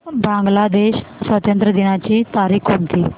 बांग्लादेश स्वातंत्र्य दिनाची तारीख कोणती